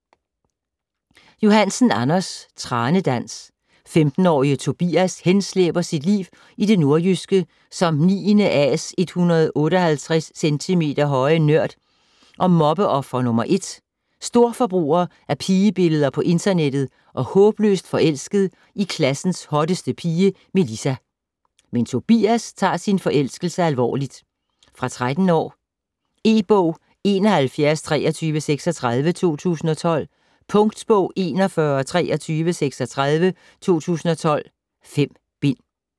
Johansen, Anders: Tranedans 15-årige Tobias henslæber sit liv i det nordjyske som 9.A's 158 cm høje nørd og mobbeoffer nr. 1, storforbruger af pigebilleder på internettet og håbløst forelsket i klassens hotteste pige, Melissa. Men Tobias tager sin forelskelse alvorligt. Fra 13 år. E-bog 712336 2012. Punktbog 412336 2012. 5 bind.